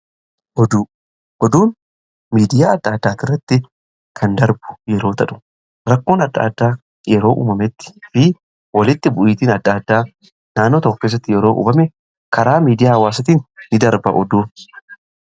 oduu, oduun miidiyaa adda addaati irratti kan darbu yeroo tahu rakkoon adda addaa yeroo uumametti fi walitti bu'iitiin adda addaa naannoo tokko keessatti yeroo uumame karaa miidiyaa adda addaatiin in darba oduun.